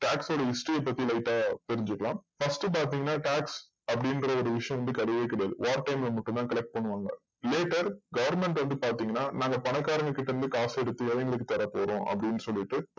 tax ஓட history பத்தி light அ தெரிஞ்சுக்கலாம் first பாத்திங்கன்னா tax அப்டின்ற விஷயம் வந்து கெடையவே கெடையாது war time ல மட்டும் தா collect பண்ணுவாங்க later government வந்து பாத்திங்கன்னா நாங்க பணக்காரங்க கிட்ட இருந்து காஸ் எடுத்து ஏலைகளுக்கு தரப்போறோம் அப்டின்னு சொல்லிட்டு